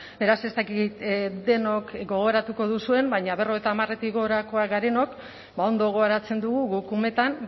beraz ez dakit denok gogoratuko duzuen baina berrogeita hamaretik gorakoak garenok ba ondo gogoratzen dugu guk umetan